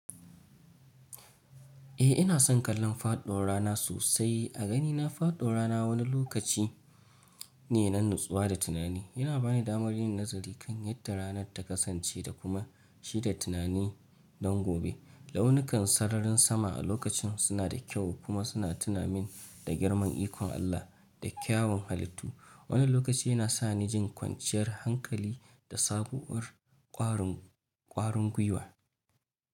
Eh ina son kallon faɗo rana sosai. A ganina, faɗo rana wani lokaci ne na natsuwa da tunani. Yana bani damar yin nazari kan yadda ranar ta kasance da kuma shi da tunani don gobe. Launukan sararin sama a lokacin suna da kyau kuma suna tuna min da girman ikon Allah da kyawun halittu. Wani lokaci yana sa ni jin kwanciyar hankali da sabuwar ƙwarin, ƙwarin gwiwa.